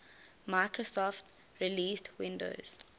microsoft released windows